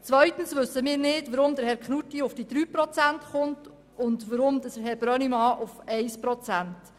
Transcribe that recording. Zweitens wissen wir nicht, wie Herr Knutti auf 3 Prozent kommt, und Herr Brönnimann auf 1 Prozent.